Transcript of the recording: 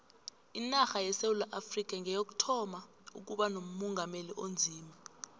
inarha yesewula afrikha ngeyokuthoma ukuba nomongameli onzima